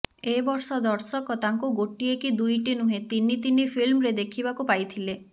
ଏ ବର୍ଷ ଦର୍ଶକ ତାଙ୍କୁ ଗୋଟିଏ କି ଦୁଇଟି ନୁହେଁ ତିନି ତିନି ଫିଲ୍ମରେ ଦେଖିବାକୁ ପାଇଥିଲେ